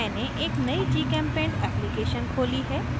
मैंने एक नयी gchempaint application खोली है